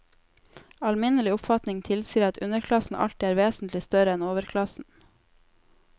Alminnelig oppfatning tilsier at underklassen alltid er vesentlig større enn overklassen.